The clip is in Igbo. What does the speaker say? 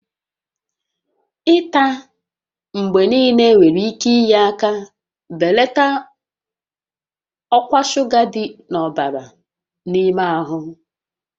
Ịta mgbe niile nwere ike inye aka belata ọkwa shuga dị n'ọbara n'ime ahụ